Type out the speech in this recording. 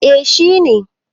eh shi ne